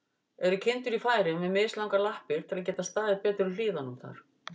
Eru kindur í Færeyjum með mislangar lappir, til að geta staðið betur í hlíðunum þar?